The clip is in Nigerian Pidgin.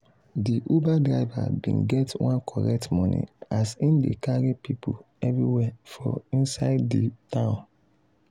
de uber driver bin get one correct money as hin dey carry people everywhere for inside de town.